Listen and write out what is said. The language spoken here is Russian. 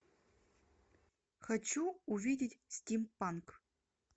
хочу увидеть стим панк